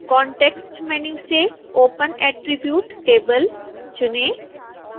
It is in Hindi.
कॉन्टैक्स्ट मैन्यू से open attribute table चुनें